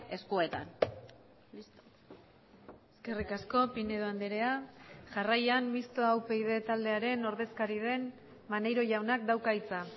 eskuetan eskerrik asko pinedo andrea jarraian mistoa upyd taldearen ordezkari den maneiro jaunak dauka hitza